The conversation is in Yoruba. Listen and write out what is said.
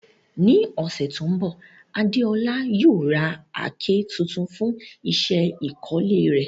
Ní ọ̀sẹ̀ tó ń bọ̀, Adeola yóò ra àáké tuntun fún iṣẹ́ ìkọ́lé rẹ̀.